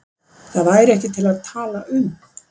Það væri ekki til að tala um.